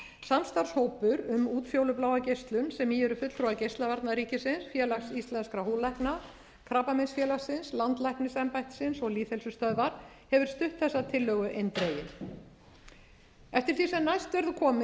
geislunsem í eru fulltrúar geislavarna ríkisins félags íslenskra húðlækna krabbameinsfélagsins landlæknisembættisins og lýðheilsustöðvar hefur stutt þessa tillögu eindregið eftir því sem næst verður